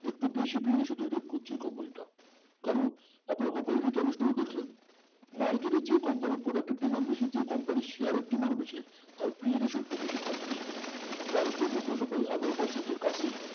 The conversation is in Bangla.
একটু বেশি curiosity তৈরি করছে company টা কারণ আপনারা company র Returns গুলো দেখলেন market company product demand বেশি যে company share demand বেশি তার একটু বেশি থাকবেই price তো এগারো percent এর কাছেই